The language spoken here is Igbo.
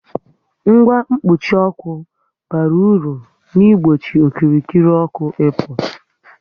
Ngwa mkpuchi ọkụ bara ulu n'igbochi okirikiri ọkụ ị pu